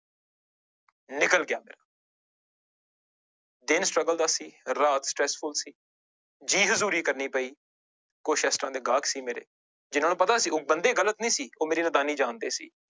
ਨਿਕਲ ਗਿਆ ਦਿਨ struggle ਦਾ ਸੀ ਰਾਹ stressful ਸੀ ਜੀ ਹਜ਼ੂਰੀ ਕਰਨੀ ਪਈ, ਕੁਛ ਇਸ ਤਰ੍ਹਾਂ ਦੇ ਗਾਹਕ ਸੀ ਮੇਰੇ, ਜਿਹਨਾਂ ਨੂੰ ਪਤਾ ਸੀ ਬੰਦੇ ਗ਼ਲਤ ਨੀ ਸੀ, ਉਹ ਮੇਰੀ ਨਦਾਨੀ ਜਾਣਦੇ ਸੀ।